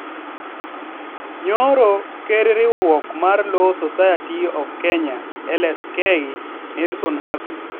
Nyoro, ker riwruok mar Law Society of Kenya (LSK) Nelson Havi